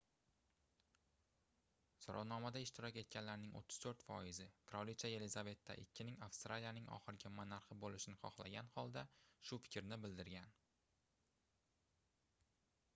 soʻrovnomada ishtirok etganlarning 34 foizi qirolicha yelizaveta ii ning avstraliyaning oxirgi monarxi boʻlishini xohlagan holda shu fikrni bildirgan